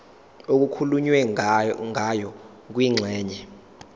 okukhulunywe ngayo kwingxenye